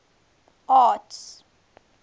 arts